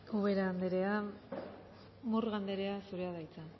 ubera anderea murga anderea zurea da hitza